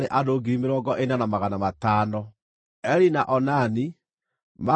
Eri na Onani, maarĩ ariũ a Juda, no maakuĩrĩire Kaanani.